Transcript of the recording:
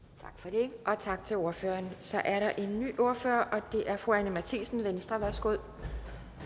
tak for det og tak til ordføreren så er der en ny ordfører og det er fru anni matthiesen venstre værsgo